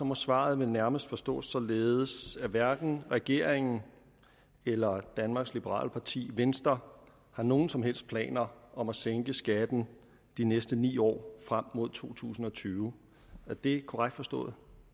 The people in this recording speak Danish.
må svaret vel nærmest forstås således at hverken regeringen eller danmarks liberale parti venstre har nogen som helst planer om at sænke skatten de næste ni år frem mod to tusind og tyve er det korrekt forstået